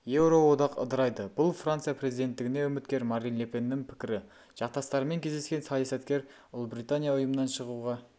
еуроодақ ыдырайды бұл франция президенттігіне үміткер марин ле пеннің пікірі жақтастарымен кездескен саясаткер ұлыбритания ұйымнан шығуға